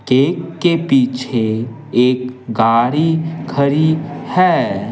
Cake के पीछे एक गाड़ी खड़ी है।